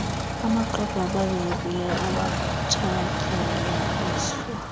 amxwebhu abalulekileyo awatshatyalaliswa